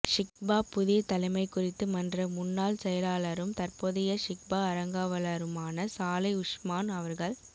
ஷிஃபா புதிய தலைமை குறித்து மன்ற முன்னால் செயலாளரும் தற்போதைய ஷிஃபா அரங்காவளருமான சாளை உஸ்மான் அவர்கள்